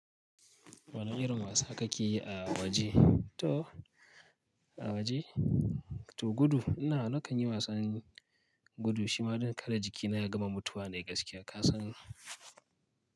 Wane irin wasa kake yi a waje? To a waje? To gudu. Ina nakan yi wasan gudu shima don kada jikina ya gama mutuwa ne gaskiya ka san.